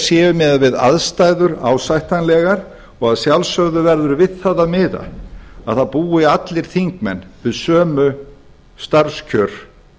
séu miðað við aðstæður ásættanlegar og að sjálfsögðu verður við það að miða að það búi allir þingmenn við sömu starfskjör